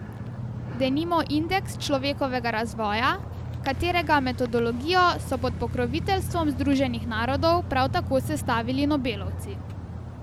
Denimo indeks človekovega razvoja, katerega metodologijo so pod pokroviteljstvom Združenih narodov prav tako sestavili nobelovci.